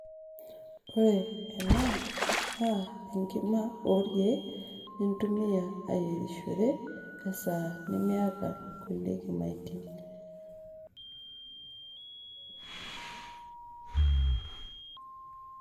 ore ena naa enkima orkeek nintumia ayierishore esaa nimiata inkulie kimaitie.